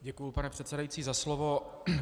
Děkuji, pane předsedající, za slovo.